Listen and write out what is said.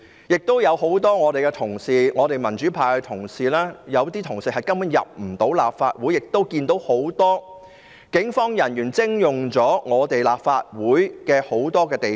有很多民主派同事根本無法進入立法會大樓，又有很多警務人員徵用立法會大量地方。